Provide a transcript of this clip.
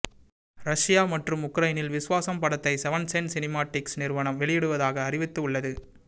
Russia மற்றும் உக்ரைனில் விஸ்வாசம் படத்தை செவன்த் சென்ஸ் சினிமாட்டிக்ஸ் நிறுவனம் வெளியிடுவதாக அறிவித்து உள்ளது